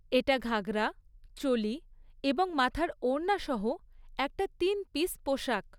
এটা ঘাগরা, চোলি এবং মাথার ওড়না সহ একটা তিন পিস পোশাক।